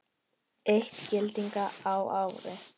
Eitt gyllini á ári.